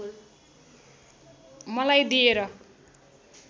मलाई दिएर